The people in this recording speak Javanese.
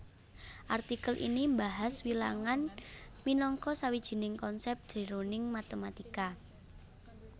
Artikel iki mbahas wilangan minangka sawijining konsèp jroning matématika